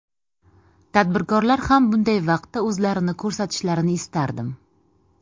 Tadbirkorlar ham bunday vaqtda o‘zlarini ko‘rsatishlarini istardim.